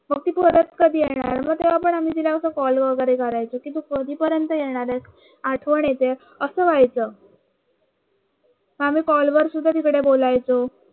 आम्ही तिला कॉल वगैरे करायचं की तू कधीपर्यंत येणार आहेस आठवण येते असं व्हायचं आम्ही कॉल वर सुद्धा तिकडे बोलायचं